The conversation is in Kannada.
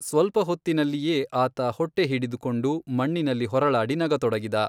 ಸ್ವಲ್ಪ ಹೊತ್ತಿನಲ್ಲಿಯೇ ಆತ ಹೊಟ್ಟೆ ಹಿಡಿದುಕೊಂಡು, ಮಣ್ಣಿನಲ್ಲಿ ಹೊರಳಾಡಿ ನಗತೊಡಗಿದ.